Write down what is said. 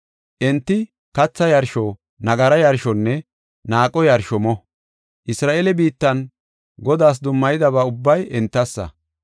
Enti katha yarsho, nagara yarshonne naaqo yarsho mo. Isra7eele biittan Godaas dummayidaba ubbay entassa.